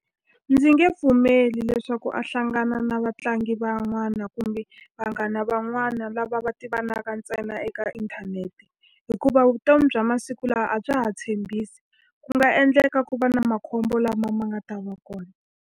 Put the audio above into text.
Ndzi nge pfumeli leswaku a hlangana na vatlangi van'wana kumbe vanghana van'wana lava va tivaka ntsena eka inthanete. Hikuva vutomi bya masiku lawa a bya ha tshembisi, ku nga endleka ku va na makhombo lama ma nga ta va kona.